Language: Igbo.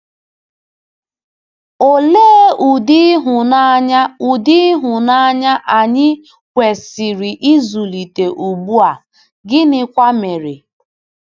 Olee ụdị ịhụnanya ụdị ịhụnanya anyị kwesịrị ịzụlite ugbu a, gịnịkwa mere?